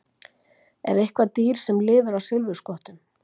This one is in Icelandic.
Er eitthvert dýr sem lifir á silfurskottum?